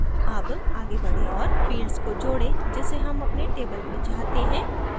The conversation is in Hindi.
add आगे बढें औऱ fields को जोडें जिसे हम अपने table में चाहते हैं